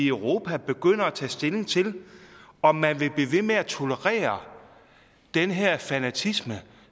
europa begynder at tage stilling til om man vil blive ved med at tolerere den her fanatisme